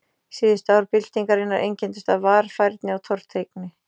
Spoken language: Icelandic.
Síðustu ár byltingarinnar einkenndust af varfærni og tortryggni.